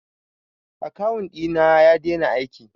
akawun ɗina ya dena aiki